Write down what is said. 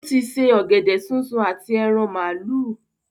Ó ti se “ ọ̀gẹ̀dẹ̀ súnsun àti ẹran màálù”.